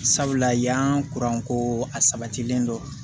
Sabula yan ko a sabatilen don